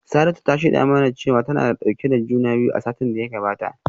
Saratu ta shaida mana cewa tana dauke da juna biyu a satin da ya gabata